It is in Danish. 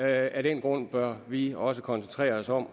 af den grund bør vi også koncentrere os om